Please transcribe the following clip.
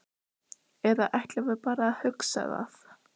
Eða ætlum við bara að hugsa það?